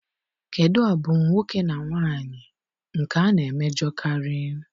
Kedụ abụmoke na nwaanyị nke a na-emejọkarị?